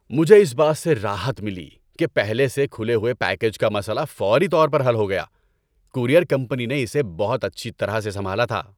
مجھے اس بات سے راحت ملی کہ پہلے سے کھلے ہوئے پیکیج کا مسئلہ فوری طور پر حل ہو گیا۔ کورئیر کمپنی نے اسے بہت اچھی طرح سے سنبھالا تھا۔